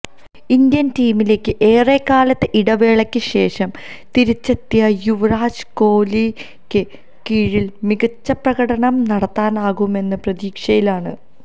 Indian ടീമിലേക്ക് ഏറെക്കാലത്തെ ഇടവേളക്ക് ശേഷം തിരിച്ചെത്തിയ യുവരാജ് കോലിക്ക് കീഴില് മികച്ച പ്രകടനം നടത്താനാകുമെന്ന പ്രതീക്ഷയിലാണ്